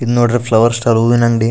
ಇದ ನೋಡ್ರಿ ಫ್ಲವರ್ನ್ ಸ್ಟಾಲ್ ಹೂವಿನ ಅಂಗಡಿ.